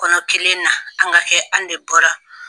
Kɔnɔ kelen na an ka kɛ an de bɔra.